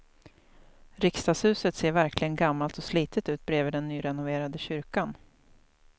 Riksdagshuset ser verkligen gammalt och slitet ut bredvid den nyrenoverade kyrkan.